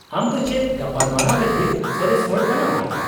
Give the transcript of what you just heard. -ᱟᱢ ᱫᱚ ᱪᱮᱫ ᱜᱟᱯᱟᱞᱢᱟᱨᱟᱣ ᱞᱟᱹᱜᱤᱫ ᱥᱚᱨᱮᱥ ᱦᱚᱲ ᱠᱟᱱᱟᱢ ?